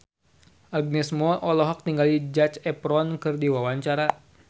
Agnes Mo olohok ningali Zac Efron keur diwawancara